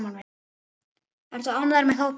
Ertu ánægður með hópinn?